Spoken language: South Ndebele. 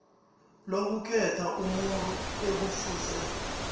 lokukhetha umuntu ekufuze